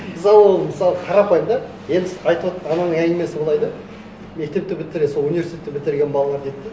ырза болдым мысалы қарапайым да ең қызық айтып отырған ананың әңгімесі былай да мектепті бітірген сол университетті бітірген балалар дейді де